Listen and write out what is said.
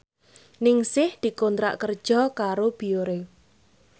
Ningsih dikontrak kerja karo Biore